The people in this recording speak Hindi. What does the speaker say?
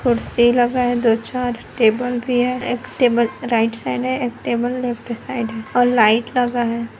कुर्सी लगा है दो चार टेबल भी है एक टेबल राइट साइड है एक टेबल लफ़्ट साइड़ है और लाइट लगा हैं ।